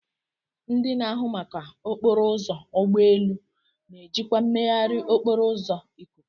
Ndị na-ahụ maka okporo ụzọ ụgbọ elu na-ejikwa mmegharị okporo ụzọ ikuku.